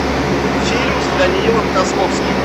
фильм с даниилом козловским